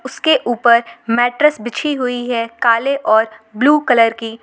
उसके ऊपर मैट्रस बिछी हुई है काले और ब्लू कलर की।